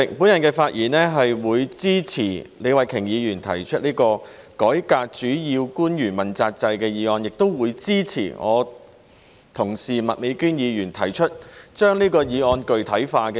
主席，我發言支持李慧琼議員提出的這項關於改革主要官員問責制的議案，亦會支持我的同事麥美娟議員所提出的修正案，將這項議案具體化。